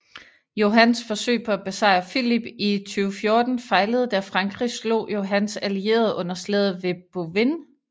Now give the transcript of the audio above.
Johans forsøg på at besejre Filip i 1214 fejlede da frankrig slog Johans allierede under slaget ved Bouvines